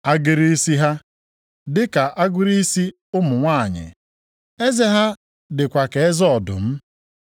Agịrị isi ha dịka agịrị isi ụmụ nwanyị. Eze ha dịkwa ka eze ọdụm.